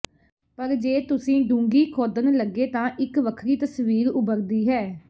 ਪਰ ਜੇ ਤੁਸੀਂ ਡੂੰਘੀ ਖੋਦਣ ਲੱਗੇ ਤਾਂ ਇੱਕ ਵੱਖਰੀ ਤਸਵੀਰ ਉਭਰਦੀ ਹੈ